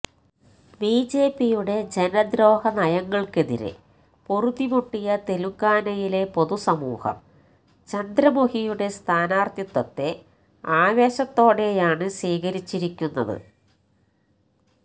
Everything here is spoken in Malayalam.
ബിജെപിയുടെ ജനദ്രോഹ നയങ്ങള്ക്കെതിരെ പൊറുതിമുട്ടിയ തെലുങ്കാനയിലെ പൊതുസമൂഹം ചന്ദ്രമുഖിയുടെ സ്ഥാനാര്ത്ഥിത്വത്തെ ആവേശത്തോടെയാണ് സ്വീകരിച്ചിരിക്കുന്നത്